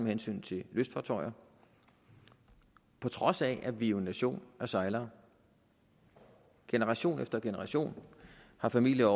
hensyn til lystfartøjer på trods af at vi jo er en nation af sejlere generation efter generation har familier